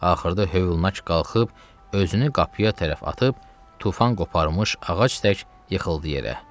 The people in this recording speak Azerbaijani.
Axırda hövlnak qalxıb özünü qapıya tərəf atıb tufan qoparmış ağac tək yıxıldı yerə.